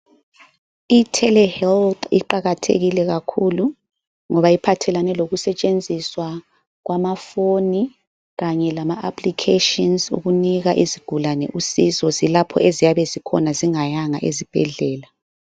Itelehealth iqakathekile kakhulu ngoba iphathelane lokusetshenziswa kwamafoni kanye lama aplikheshini ukunika izigulane usizo lapho eziyabe zikhona zingayanga ezibhedlela.